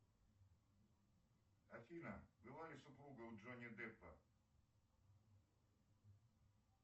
афина была ли супруга у джонни деппа